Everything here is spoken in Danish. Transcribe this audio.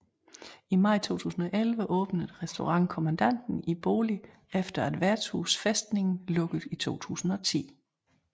I maj 2011 åbnede Restaurant Kommandanten i boligen efter at Vertshuset Festningen lukkede i 2010